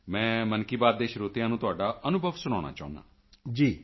ਮੈਂ ਮਨ ਕੀ ਬਾਤ ਦੇ ਸਰੋਤਿਆਂ ਨੂੰ ਤੁਹਾਡਾ ਅਨੁਭਵ ਸੁਣਾਉਣਾ ਚਾਹੁੰਦਾ ਹਾਂ